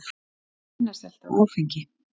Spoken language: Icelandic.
Minna selt af áfengi